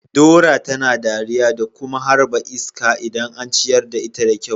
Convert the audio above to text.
Dora tana dariya da kuma harba iska idan an ciyar da ita da kyau.